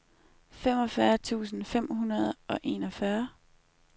femogfyrre tusind fem hundrede og enogfyrre